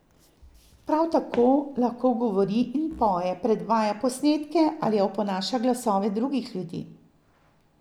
Prav tako lahko govori in poje, predvaja posnetke ali oponaša glasove drugih ljudi.